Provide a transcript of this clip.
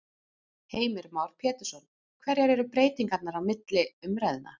Heimir Már Pétursson: Hverjar eru breytingarnar á milli umræðna?